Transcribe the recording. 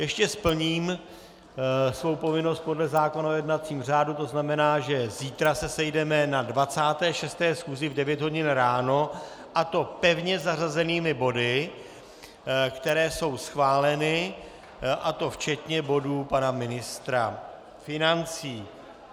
Ještě splním svou povinnost podle zákona o jednacím řádu, to znamená, že zítra se sejdeme na 26. schůzi v 9 hodin ráno, a to pevně zařazenými body, které jsou schváleny, a to včetně bodu pana ministra financí.